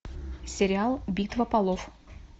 сериал битва полов